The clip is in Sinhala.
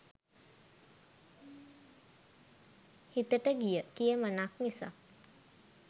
හිතට ගිය "කියමනක්" මිසක්